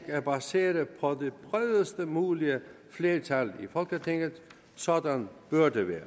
er baseret på det bredest mulige flertal i folketinget sådan bør det være